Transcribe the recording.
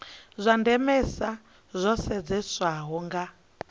zwa ndemesa zwo sedzeswaho nga